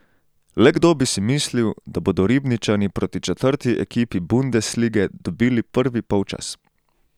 Le kdo bi si mislil, da bodo Ribničani proti četrti ekipi bundeslige dobili prvi polčas?